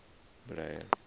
mbilahelo